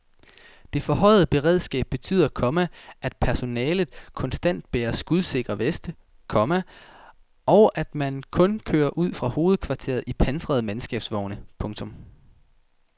Det forhøjede beredskab betyder, komma at personellet konstant bærer skudsikre veste, komma og at man kun kører ud fra hovedkvarteret i pansrede mandskabsvogne. punktum